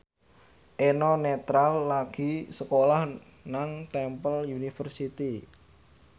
Eno Netral lagi sekolah nang Temple University